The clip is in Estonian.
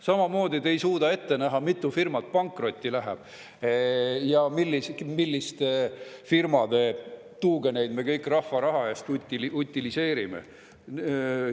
Samamoodi te ei suuda ette näha, mitu firmat pankrotti läheb ja milliste firmade tuugeneid me kõik rahva raha eest utiliseerime.